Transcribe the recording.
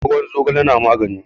ruwan zogale yana magani